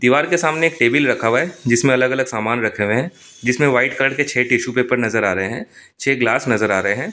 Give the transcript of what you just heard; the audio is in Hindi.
दिवार के सामने एक टेबल रखा हुआ है जिसमे अलग अलग सामान रखे हुए है जिसमे वाइट कलर के छह टिश्यू पेपर नज़र आ रहे है छह गिलास नज़र आ रहे है और एक प्ले--